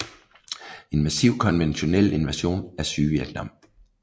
En massiv konventionel invasion af Sydvietnam